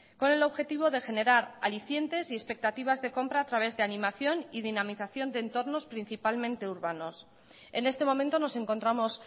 con el objetivo de generar alicientes y expectativas de compra a través de animación y dinamización de entornos principalmente urbanos en este momento nos encontramos